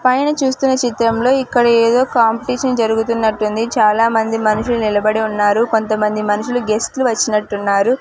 పైన చూస్తున్న చిత్రంలో ఇక్కడ ఏదో కాంపిటీషన్ జరుగుతున్నట్టుంది చాలామంది మనుషులు నిలబడి ఉన్నారు కొంతమంది మనుషులు గెస్ట్ లు వచ్చినట్టు ఉన్నారు.